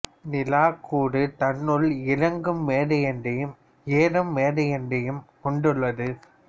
நிலா கூறு தன்னுள் இறங்கு மேடையொன்றையும் ஏறு மேடையொன்றையும் கொண்டுள்ளது